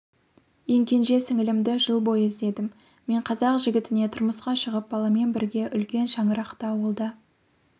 ең кенже сіңілімді жыл бойы іздедім мен қазақ жігітіне тұрмысқа шығып баламен бірге үлкен шаңырақта ауылда